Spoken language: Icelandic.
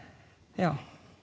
já